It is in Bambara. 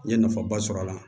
N ye nafaba sɔrɔ a la